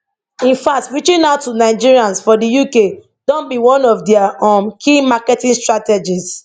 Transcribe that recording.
in fact reaching out to nigerians for di uk don be one of dia um key marketing strategies